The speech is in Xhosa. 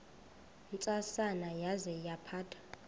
ntsasana yaza yaphatha